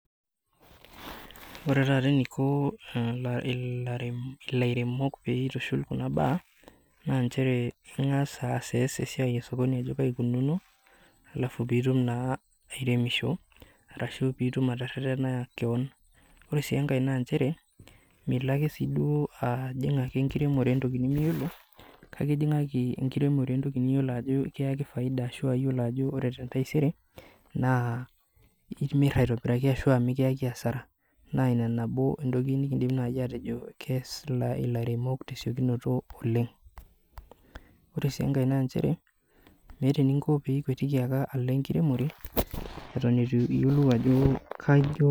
Ore taata eniko lairemok pee eitushuli kuna baa, naa nchere engas ayiolou esiai esokoni ajo kaji eikununo, alafu pee etum naa airemisho ashu pee etum naa ateretena keon. Ore sii enkae naa nchere milo ake duo ajing enkiremore entoki nimiyiolo, kake ijingaki enkiremore entoki niyiolo ajo ekiyaki faida ashu niyiolo ajo ore tentaisere, naa imirta aitobiraki ashua mikiyaki asara. Naa ina entoki nabo naaji naidim atejo kees ilairemok tesiokinoto oleng. Ore sii enkae naa nchere, meeta eninko pee ikwetiki ake alo ankiemore eton eitu iyiolou.